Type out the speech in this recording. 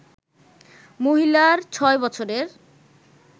মহিলার ছয় বছরের